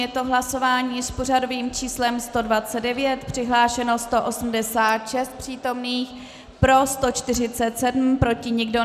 Je to hlasování s pořadovým číslem 129, přihlášeno 186 přítomných, pro 147, proti nikdo.